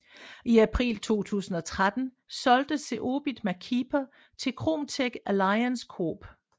I april 2013 solgte Zeobit MacKeeper til Kromtech Alliance Corp